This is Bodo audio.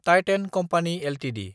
थिथान कम्पानि एलटिडि